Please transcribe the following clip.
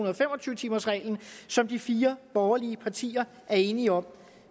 og fem og tyve timersreglen som de fire borgerlige partier er enige om